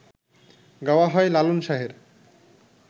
গাওয়া হয় লালন শাহের